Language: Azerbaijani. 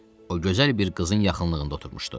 O gözəl bir qızın yaxınlığında oturmuşdu.